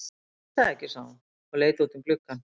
Ég veit það ekki, sagði hún og leit út um gluggann.